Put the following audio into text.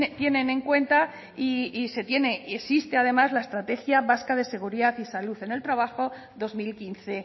tienen en cuenta y se tiene existe además la estrategia vasca de seguridad y salud en el trabajo dos mil quince